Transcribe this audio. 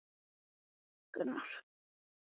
Gerður hafi orðið við þessu kalli.